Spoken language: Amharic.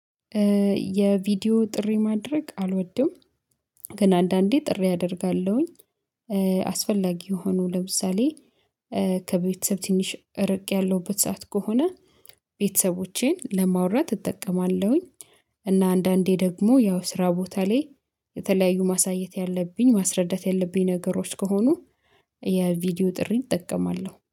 የቪዲዮ ጥሪ ማድረግ አልወድም። ግን አንዳንዴ ጥሪ አደርጋለሁኝ አስፈላጊ የሆኑ ለምሳሌ ከቤተሰብ ትንሽ ርቄ ያለውበት ሰዓት ከሆነ ቤተሰቦቼን ለማውራት እጠቀማለሁኝ። እና አንዳንዴ ደግሞ ያው ስራ ቦታ ላይ የተለያዩ ማሳየት ያለብኝ ማስረዳት ያለብኝ ነገሮች ከሆኑ የቪዲዮ ጥሪን እጠቀማለሁ